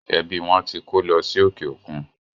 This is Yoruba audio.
Ẹbí wọn tí kó lọ sí òkè òkun.